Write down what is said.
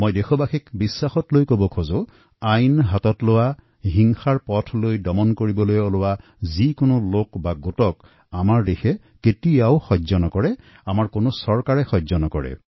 মই দেশবাসীক আশ্বাস দিব বিচাৰো যে আইন হাতত তুলি লোৱা লোকসকলৰ বিৰুদ্ধে হিংসাৰ পথত যোৱা কোনো লোক ব্যক্তি বা সম্প্ৰদায় যিয়েই নহওঁক কাকো চৰকাৰ বা দেশে সহ্য নকৰে